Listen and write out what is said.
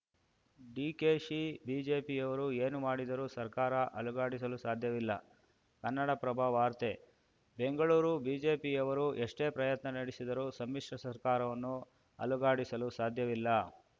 ಡಿಕೆಶಿ ಬಿಜೆಪಿಯವರು ಏನು ಮಾಡಿದರೂ ಸರ್ಕಾರ ಅಲುಗಾಡಿಸಲು ಸಾಧ್ಯವಿಲ್ಲ ಕನ್ನಡಪ್ರಭ ವಾರ್ತೆ ಬೆಂಗಳೂರು ಬಿಜೆಪಿಯವರು ಎಷ್ಟೇ ಪ್ರಯತ್ನ ನಡೆಸಿದರೂ ಸಮ್ಮಿಶ್ರ ಸರ್ಕಾರವನ್ನು ಅಲುಗಾಡಿಸಲು ಸಾಧ್ಯವಿಲ್ಲ